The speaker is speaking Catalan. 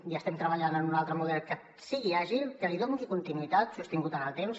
i estem treballant en un altre model que sigui àgil que li doni continuïtat sostinguda en el temps